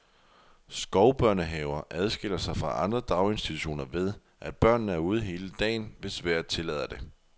Skovbørnehaver adskiller sig fra andre daginstitutioner ved, at børnene er ude hele dagen, hvis vejret tillader det.